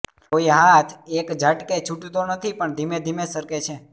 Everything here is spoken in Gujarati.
કોઈ હાથ એકઝાટકે છૂટતો નથી પણ ધીમે ધીમે સરકે છે